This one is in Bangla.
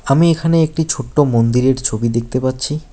আমি এখানে একটি ছোট্ট মন্দিরের ছবি দেখতে পাচ্ছি।